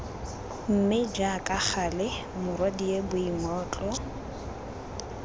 mme jaaka gale morwadie boingotlo